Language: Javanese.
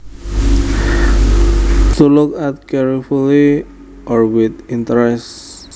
To look at carefully or with interest